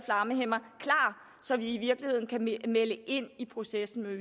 flammehæmmere klar så vi i virkeligheden kan melde ind i processen i